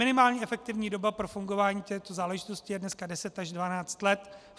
Minimální efektivní doba pro fungování této záležitosti je dneska 10 až 12 let.